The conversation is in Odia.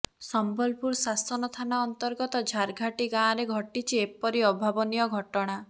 ସମ୍ବଲପୁର ଶାସନ ଥାନା ଅନ୍ତର୍ଗତ ଝରଘାଟି ଗାଁରେ ଘଟିଛି ଏପରି ଅଭାବନୀୟ ଘଟଣା